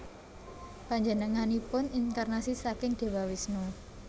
Panjenenganipun inkarnasi saking Dewa Wisnu